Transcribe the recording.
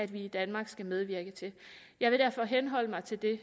vi i danmark skal medvirke til jeg vil derfor henholde mig til det